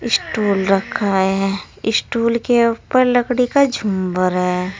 Stool रखा है stool के ऊपर लकड़ी का झुंबर है।